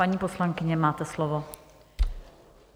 Paní poslankyně, máte slovo.